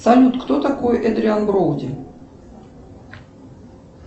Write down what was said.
салют кто такой эдриан броуди